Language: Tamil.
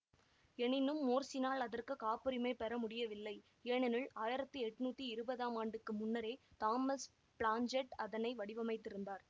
எனினும் மோர்ஸுனால் அதற்கு காப்புரிமை பெற முடியவில்லை ஏனெனில் ஆயிரத்தி எண்ணூற்றி இருபதாம் ஆண்டுக்கு முன்னரே தாமஸ் பிளாஞ்சர்ட் அதனை வடிவமைத்திருந்தார்